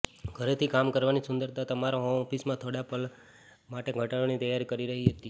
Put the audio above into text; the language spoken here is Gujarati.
ઘરેથી કામ કરવાની સુંદરતા તમારા હોમ ઓફિસમાં થોડા પગલાંઓ માટે ઘટાડાની તૈયારી કરી રહી છે